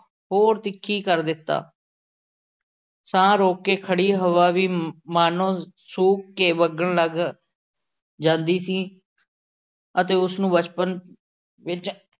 ਹੋਰ ਤਿੱਖੀ ਕਰ ਦਿੱਤਾ। ਸਾਹ ਰੋਕ ਕੇ ਖੜ੍ਹੀ ਹਵਾ ਵੀ ਮਾਨੋ ਸ਼ੂਕ ਕੇ ਵਗਣ ਲੱਗ ਜਾਂਦੀ ਸੀ ਅਤੇ ਉਸ ਨੂੰ ਬਚਪਨ ਵਿੱਚ